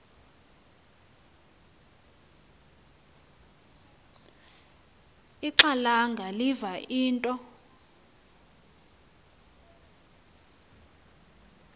ixhalanga liva into